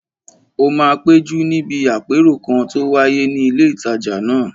Ó máa péjú níbi àpérò kan tó wáyé ní ilé ìtajà náà